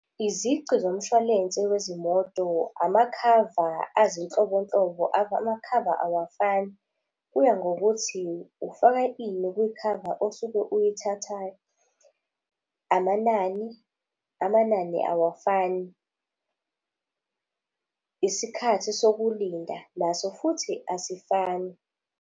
Izici zomshwalense wezimoto, amakhava azinhlobonhlobo, amakhava awafani. Kuya ngokuthi ufaka ini kuyikhava osuke uyithathayo. Amanani, amanani awafani. Isikhathi sokulinda, naso futhi asifani.